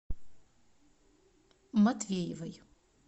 матвеевой